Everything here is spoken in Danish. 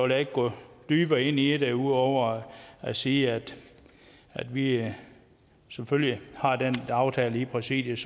jeg ikke gå dybere ind i det ud over at sige at vi selvfølgelig har den aftale i præsidiet